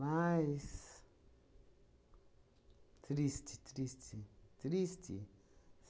Triste, triste, triste.